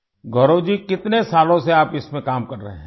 گورو جی کتنے سالوں سے آپ اس میں کام کر رہے ہیں؟